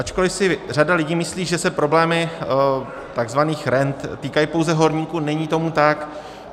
Ačkoli si řada lidí myslí, že se problémy tzv. rent týkají pouze horníků, není tomu tak.